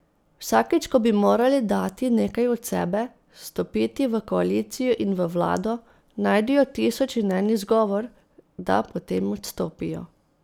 Vsakič ko bi morali dati nekaj od sebe, stopiti v koalicijo in v vlado, najdejo tisoč in en izgovor, da potem odstopijo.